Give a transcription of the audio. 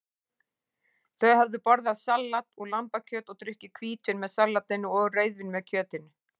Þau höfðu borðað salat og lambakjöt og drukkið hvítvín með salatinu og rauðvín með kjötinu.